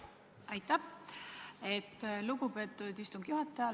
Aitäh, lugupeetud istungi juhataja!